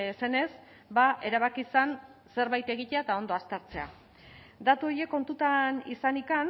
zenez erabaki zen zerbait egitea eta ondo aztertzea datu horiek kontutan izanik